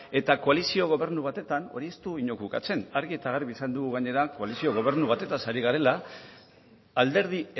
eta koalizio gobernu batetan hori ez du inork ukatzen argi eta garbi esan dugu gainera koalizio gobernu batez ari garela alderdi